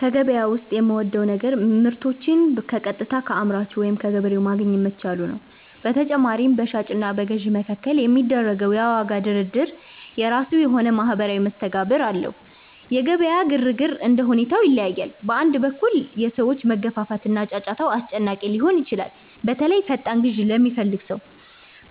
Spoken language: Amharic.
ከገበያ ዉስጥ የምወደው ነገር ምርቶችን በቀጥታ ከአምራቹ ወይም ከገበሬው ማግኘት መቻሉ ነው። በተጨማሪም፣ በሻጭ እና በገዥ መካከል የሚደረገው የዋጋ ድርድር የራሱ የሆነ ማኅበራዊ መስተጋብር አለው። የገበያ ግርግር እንደ ሁኔታው ይለያያል። በአንድ በኩል፣ የሰዎች መገፋፋት እና ጫጫታው አስጨናቂ ሊሆን ይችላል፤ በተለይ ፈጣን ግዢ ለሚፈልግ ሰው።